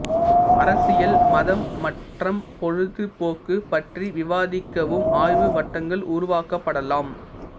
அரசியல் மதம் மற்றம் பொழுது போக்கு பற்றி விவாதிக்கவும் ஆய்வு வட்டங்கள் உருவாக்கப்படலாம்